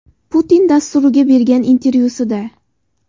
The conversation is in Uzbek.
Putin” dasturiga bergan intervyusida.